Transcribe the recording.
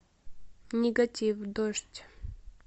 нигатив дождь